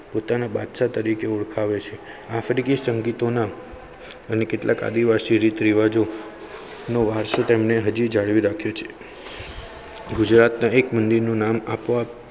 પોતાના બાદશાહ તરીકે ઓળખાવે છે આફ્રિકી સંગીતઓના. અને કેટલાક આદિવાસી રીતરિવાજો. નો વારસો તેમને હજી જાળવી રાખ્યું છે ગુજરાત દરેક મંદિર નું નામ અપોઅપ